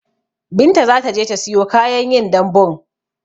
Binta zataje ta siyo kayan yin dambun